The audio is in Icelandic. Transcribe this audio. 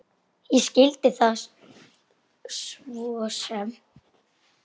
Ég skildi það svo sem.